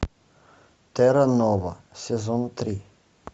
терра нова сезон три